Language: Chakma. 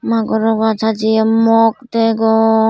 magoro ajj hajeye mok degong.